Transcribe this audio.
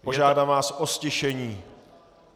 Požádám vás o ztišení.